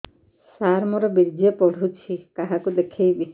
ସାର ମୋର ବୀର୍ଯ୍ୟ ପଢ଼ୁଛି କାହାକୁ ଦେଖେଇବି